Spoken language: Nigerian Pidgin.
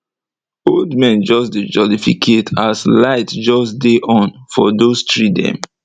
old men just dey jolificate as light just dey on for those tree dem